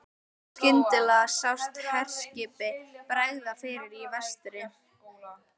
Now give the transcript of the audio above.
Skyndilega sást herskipi bregða fyrir í vestri.